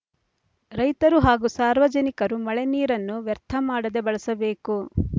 ರೈತರು ಹಾಗೂ ಸಾರ್ವಜನಿಕರು ಮಳೆ ನೀರನ್ನು ವ್ಯರ್ಥ ಮಾಡದೆ ಬಳಸಬೇಕು